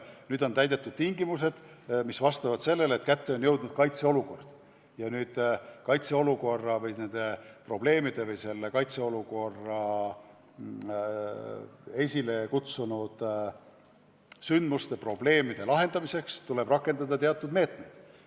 Kui on tegu nende tunnustega, siis jõuab teadvusse, et tekkinud on kaitseolukord ja selle esile kutsunud sündmustega kaasnevate probleemide lahendamiseks tuleb rakendada teatud meetmeid.